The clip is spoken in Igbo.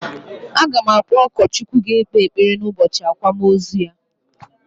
A ga m akpọ ụkọchukwu ga ekpe ekpere n'ubọchị akwamozu ya